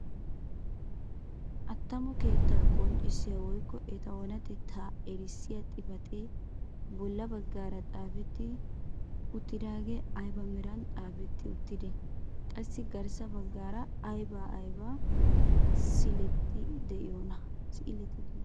Attamo keettaa qonccisiyaa woykko eta oonatettaa erissiyaa xifatee bolla baggaara zaafetti uttidagee ayba meran xaafetti uttidee? qassi garssa baggaara ayba ayba siileti de'iyoonaa?